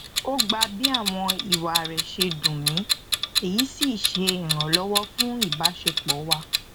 ó gbà bí àwọn ìwà rẹ ṣe dùn mi èyí sí ṣe ìrànlọwọ fún ìbásepọ wa